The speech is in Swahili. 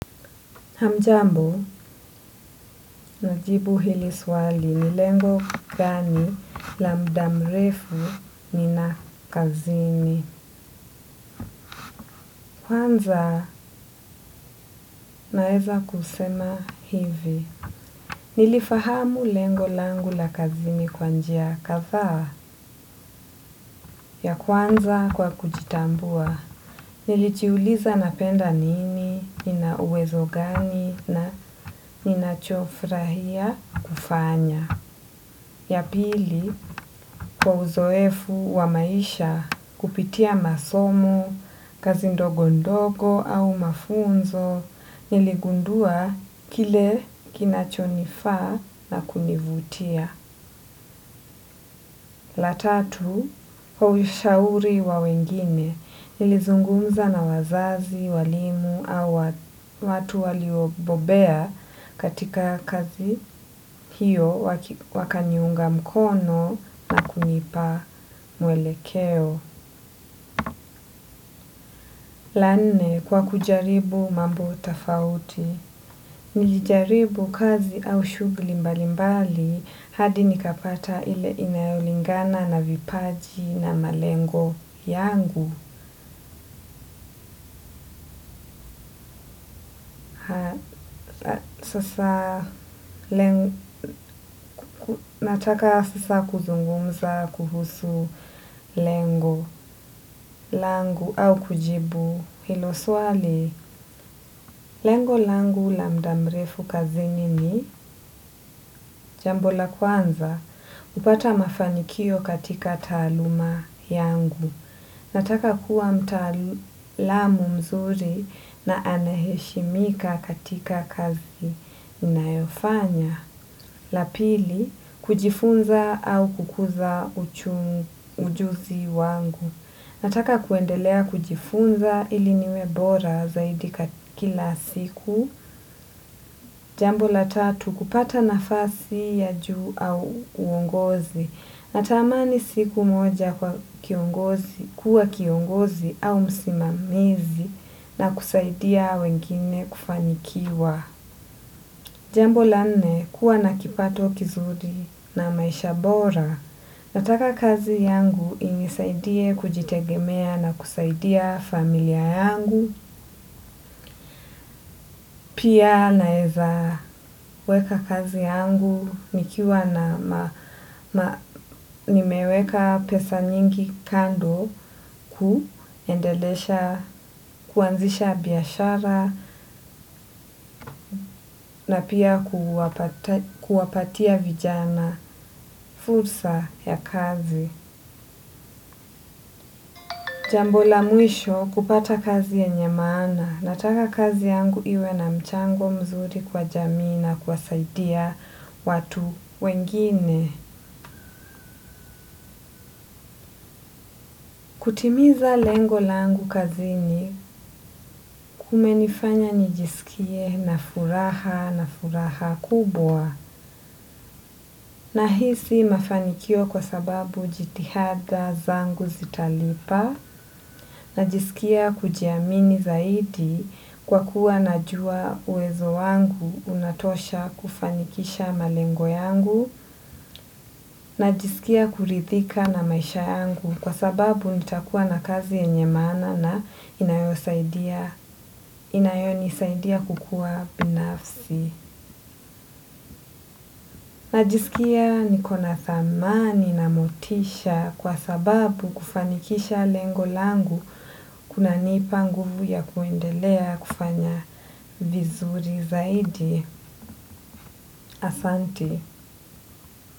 Hamjambo, najibu hili swali, ni lengo gani la muda mrefu nina kazini. Kwanza, naeza kusema hivi. Nilifahamu lengo langu la kazini kwa njia kadhaa ya kuanza kwa kujitambua. Nilijiuliza napenda nini, nina uwezo gani na ninachofurahia kufanya. Ya pili, kwa uzoefu wa maisha kupitia masomo, kazi ndogo ndogo au mafunzo, niligundua kile kinachonifaa na kunivutia. La tatu, kwa ushauri wa wengine, nilizungumza na wazazi, walimu au watu waliobobea katika kazi hiyo wakaniunga mkono na kunipa mwelekeo. La nne kwa kujaribu mambo tofauti. Nilijaribu kazi au shughuli mbalimbali hadi nikapata ile inayolingana na vipaji na malengo yangu. Sasa, nataka sasa kuzungumza kuhusu lengo langu au kujibu hilo swali. Lengo langu la muda mrefu kazini ni, jambo la kwanza, kupata mafanikio katika taaluma yangu. Nataka kuwa mtaalamu mzuri na anaheshimika katika kazi ninayofanya. La pili, kujifunza au kukuza ujuzi wangu. Nataka kuendelea kujifunza ili niwe bora zaidi kila siku. Jambo la tatu, kupata nafasi ya juu au uongozi. Natamani siku moja kwa kiongozi, kuwa kiongozi au msimamizi na kusaidia wengine kufanikiwa. Jambo la nne kuwa na kipato kizuri na maisha bora. Nataka kazi yangu inisaidie kujitegemea na kusaidia familia yangu. Pia naeza weka kazi yangu nikiwa na nimeweka pesa nyingi kando kuendelesha kuanzisha biashara, na pia kuwapatia vijana fursa ya kazi. Jambo la mwisho kupata kazi yenye maana, nataka kazi yangu iwe na mchango mzuri kwa jamii na kuwasaidia watu wengine. Kutimiza lengo langu kazini kumenifanya nijisikie na furaha na furaha kubwa. Na hii si mafanikio kwa sababu jitihada zangu zitalipa, najisikia kujiamini zaidi kwa kuwa najua uwezo wangu unatosha kufanikisha malengo yangu, najisikia kurithika na maisha yangu kwa sababu nitakuwa na kazi yenye maana na inayonisaidia kukua binafsi. Najisikia niko na thamani na motisha kwa sababu kufanikisha lengo langu kunanipa nguvu ya kuendelea kufanya vizuri zaidi. Asanti.